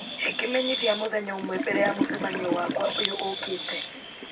hĩ kĩmenyithia mũthenya ũmwe mbere ya mũcemanio wakwa ũyũ ũũkĩte